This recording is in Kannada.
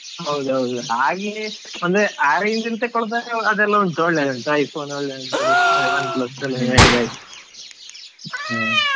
ಹೌದೌದು, ಹಾಗೆ ಅಂದ್ರೆ ಆ range ಅಲ್ ತಗೋಳೋದಾದ್ರೆ ಅದೆಲ್ಲ ಉಂಟು iPhone ಉಂಟು Oneplus ನೀವ್ ಹೇಳಿದಾಗೆ ಹಾ.